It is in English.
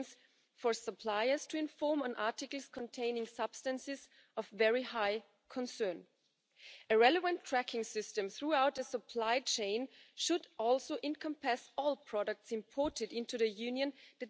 contents in new products. The goal is very simple to ensure that by 2030 all plastic packaging is reusable or recyclable